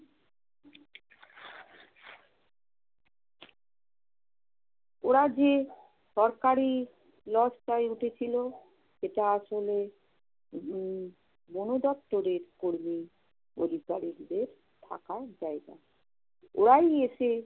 ওরা যে সরকারি লজটায় উঠেছিল সেটা আসলে উম বনদপ্তরের কর্মী অধিকারিদের থাকার জায়গা। ওরাই এসে